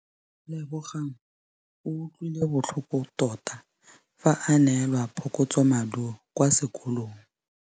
Lebogang o utlwile botlhoko tota fa a neelwa phokotsômaduô kwa sekolong.